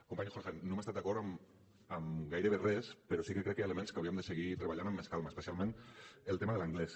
company jorge no hem estat d’acord en gairebé res però sí que crec que hi ha elements que hauríem de seguir treballant amb més calma especialment el tema de l’anglès